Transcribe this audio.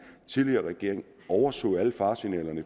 tidligere regering overså alle faresignaler i